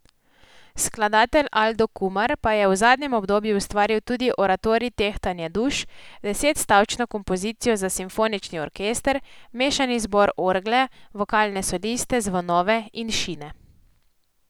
Skladatelj Aldo Kumar pa je v zadnjem obdobju ustvaril tudi oratorij Tehtanje duš, deset stavčno kompozicijo za simfonični orkester, mešani zbor, orgle, vokalne soliste, zvonove in šine.